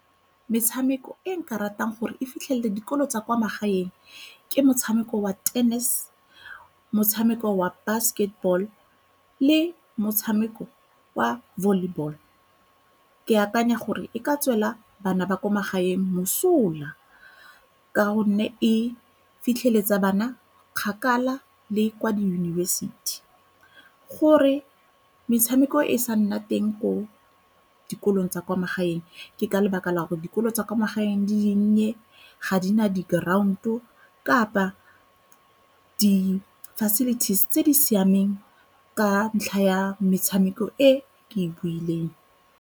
Metshameko e nka ratang gore e fitlhelele dikolo tsa kwa magaeng ke motshameko wa tennis, motshameko wa basketball le motshameko wa volleyball. Ke akanya gore e ka tswela bana ba ko magaeng mosola ka gonne e fitlheletsa bana kgakala le kwa diyunibesithi. Gore metshameko e sa nna teng ko dikolong tsa kwa magaeng ke ka lebaka la gore dikolo tsa kwa magaeng di dinnye, ga di na di-ground-o kapa di-facilities tse di siameng ka ntlha ya metshameko e ke e buileng.